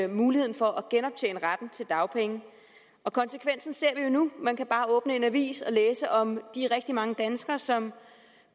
muligheden for at genoptjene retten til dagpenge konsekvensen ser vi jo nu man kan bare åbner en avis og læser om de rigtig mange danskere som